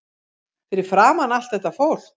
Fyrir framan allt þetta fólk.